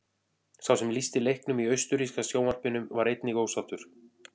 Sá sem lýsti leiknum í austurríska sjónvarpinu var einnig ósáttur.